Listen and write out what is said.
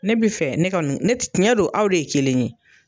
Ne bi fɛ ne ka nu ne t tiɲɛ don aw de ye kelen ye